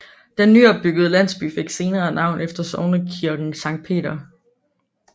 Den nyopbyggede landsby fik senere navn efter sognekirken Sankt Peter